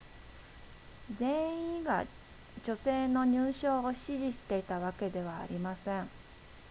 全員が女性の入賞を支持していたわけではありません